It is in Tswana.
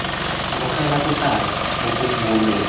amogela bopaki bo bo bonweng